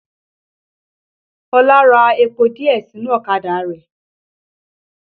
Ọlá ra epo díẹ̀ sínú ọ̀kadà rẹ̀